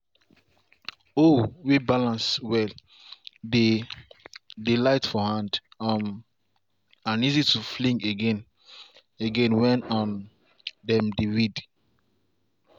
hoe way balance well dey dey light for hand um and easy to fling again again when um dem dey weed.